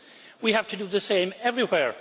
We have to do the same everywhere.